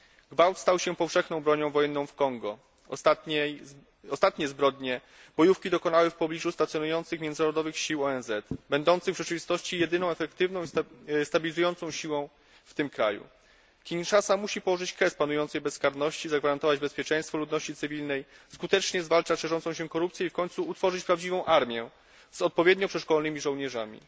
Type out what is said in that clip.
Gwałt stał się powszechną bronią wojenną w Kongu. Ostatnich zbrodni bojówki dokonały w pobliżu stacjonujących międzynarodowych sił ONZ, będących w rzeczywistości jedyną efektywną stabilizującą siłą w tym kraju. Kinszasa musi położyć kres panującej bezkarności, zagwarantować bezpieczeństwo ludności cywilnej, skutecznie zwalczać szerzącą się korupcję i w końcu utworzyć prawdziwą armię z odpowiednio przeszkolonymi żołnierzami.